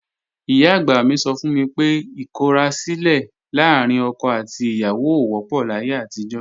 Ìyá-àgbà mi sọ fún mi pé ìkọrasílẹ̀ láàrín ọkọ àti ìyàwó ò wọ́pọ̀ láyé àtijọ́